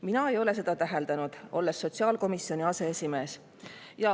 Mina ei ole seda täheldanud, olles sotsiaalkomisjoni aseesimees.